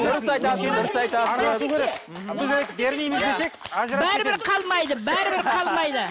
дұрыс айтасыз дұрыс айтасыз бәрібір қалмайды бәрібір қалмайды